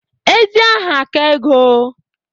Ezi aha ka ego.